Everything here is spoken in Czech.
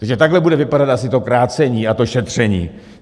Takže takhle bude vypadat asi to krácení a to šetření.